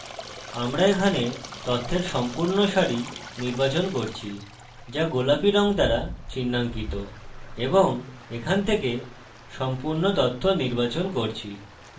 আমরা এখানে তথ্যের সম্পূর্ণ সারি নির্বাচন করছি যা গোলাপী রং দ্বারা চিনহাঙ্কিত এবং এখান থেকে সম্পূর্ণ তথ্য নির্বাচন করছি